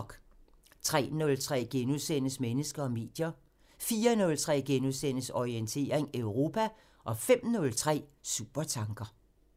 03:03: Mennesker og medier * 04:03: Orientering Europa * 05:03: Supertanker